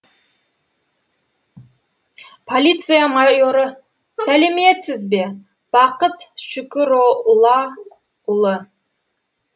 полиция майоры сәлеметсіз бе бақыт шүкүроллаұлы